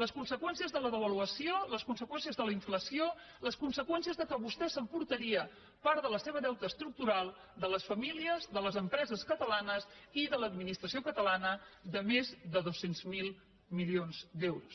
les conseqüències de la devaluació les conseqüències de la inflació les conseqüències del fet que vostè s’emportaria part del deute estructural de les famílies de les empreses catalanes i de l’administració catalana de més de dos cents miler milions d’euros